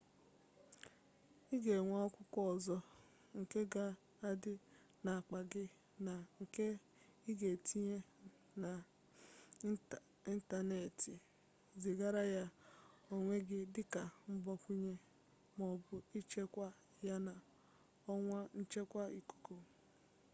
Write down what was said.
ị ga-enwe akwụkwọ ọzọ nke ga-adị n'akpa gị na nke ị ga-etinye n'ịntanetị zigara ya onwe gị dịka mgbakwunye maọbụ ịchekwaa ya na ọwa nchekwa ikuku"